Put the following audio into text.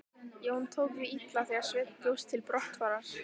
Jón tók því illa þegar Sveinn bjóst til brottfarar.